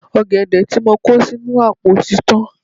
Ọ̀gẹ̀dẹ̀ tí mo kó sínú àpò tí tán.